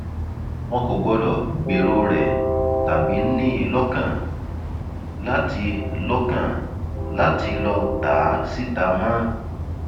wọn kò gbọdọ gbèrò rẹ tàbí ní i lọkàn láti lọkàn láti lọọ ta á síta mọ